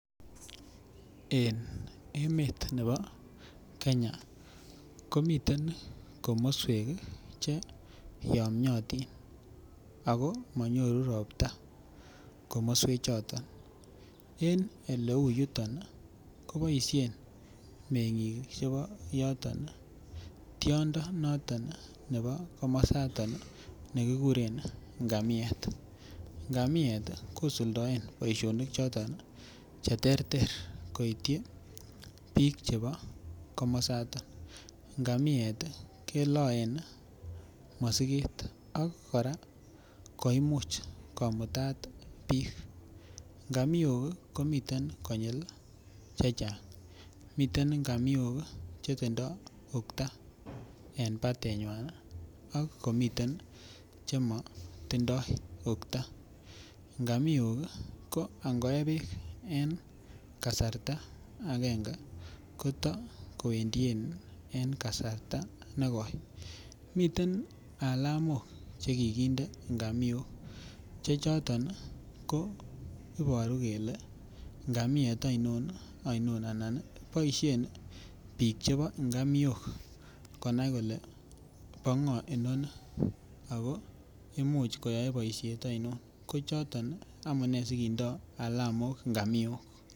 En emet nebo Kenya komiten komoswek che yomnyotin ak ko monyoru robta komoswe choton, en eleuyuton koboishen mengik chebo yoton tiondo noton nebo komosoton nekikuren ngamiet, ngamiet kosuldoen boishonik choton cheterter koityi biik chebo komosoton, ngamiet keloen mosiket ak koimuch kora komutat biik, ngamiok komii konyil chechang, miten ngamiok chetindo ukta en batenywan ak komiten chemotindoi ukta, ngamiok ko ingoe beek en kasarta akenge koto koendien en kasarta nekoi, miten alamok chekikinde ngamiok chechoton ko iboru kelee ngamiet ainon ainon anan boishen biik chebo ingamiok konai kolee bo ngo inoni ak ko imuch koyoe boishet ainon, kochoton amune sikindo alamok ngamiok.